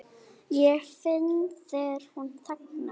Ég finn þegar hún þagnar.